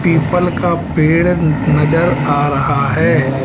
People का पेड़ नजर आ रहा है।